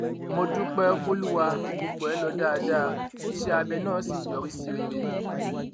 mo dúpẹ fọlùwà gbogbo ẹ lọ dáadáa iṣẹ abẹ náà sì yọrí sí rere